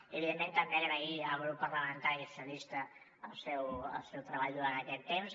i evidentment també agrair al grup parlamentari socialistes el seu treball durant aquest temps